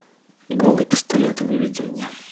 голый пистолет выведи мне